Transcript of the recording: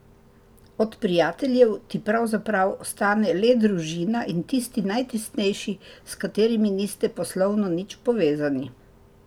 Od prijateljev ti pravzaprav ostane le družina in tisti najtesnejši, s katerimi niste poslovno nič povezani.